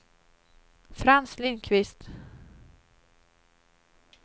Frans Lindqvist